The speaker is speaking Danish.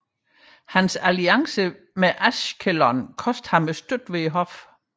Hans alliance med Ashkelon kostede ham støtte ved hoffet